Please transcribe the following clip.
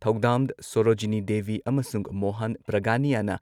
ꯊꯧꯗꯥꯝ ꯁꯣꯔꯣꯖꯤꯅꯤ ꯗꯦꯕꯤ ꯑꯃꯁꯨꯡ ꯃꯣꯍꯥꯟ ꯄ꯭ꯔꯒꯥꯅꯤꯌꯥꯅ